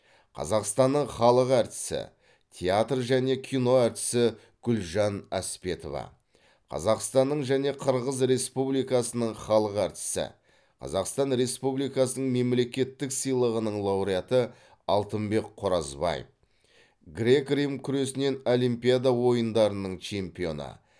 қазақстанның халық артисі театр және кино әртісі гүлжан әспетова қазақстанның және қырғыз республикасының халық артисі қазақстан республикасының мемлекеттік сыйлығының лауреаты алтынбек қоразбаев грек рим күресінен олимпиада ойындарының чемпионы